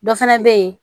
Dɔ fana bɛ yen